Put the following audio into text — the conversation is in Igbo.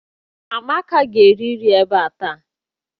Amaka ga-erirịrị nri ebe a taa!